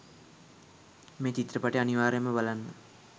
මේ චිත්‍රපටය අනිවාර්යෙන්ම බලන්න